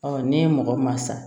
ne ye mɔgɔ maa sa